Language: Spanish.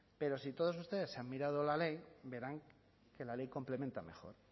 pero si todos ustedes han mirado la ley verán que la ley complementa mejor